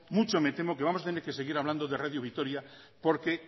mucho me temo que vamos a seguir hablando de radio vitoria porque